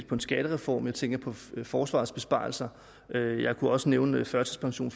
på en skattereform jeg tænker på forsvarets besparelser og jeg kunne også nævne førtidspension